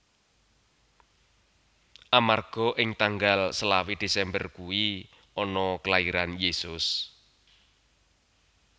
Amarga ing tanggal selawe desember kui ana kelairan Yesus